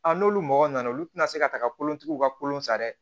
n'olu mɔgɔ nana olu tɛna se ka taga kolontigiw ka kolon san dɛ